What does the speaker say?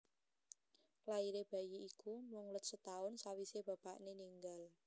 Lairé bayi iku mung let setaun sawisé bapakné ninggal